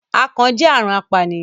akàn jẹ àrùn apànìyàn